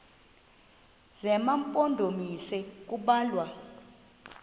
zema mpondomise kubalwa